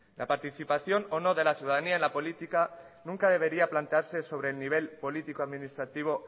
la participación o no de la ciudadanía en la política nunca debería plantearse sobre el nivel político administrativo